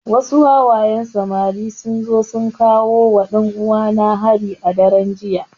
Wasu wawayen samari sun zo sun kawowa ɗan uwana hari a daren jiya